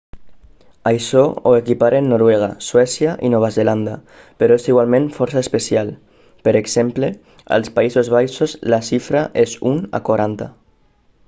això ho equiparen noruega suècia i nova zelanda però és igualment força especial per exemple als països baixos la xifra és un a quaranta